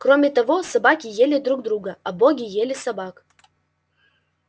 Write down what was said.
кроме того собаки ели друг друга а боги ели собак